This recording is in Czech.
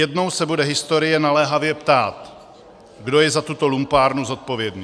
Jednou se bude historie naléhavě ptát, kdo je za tuto lumpárnu zodpovědný.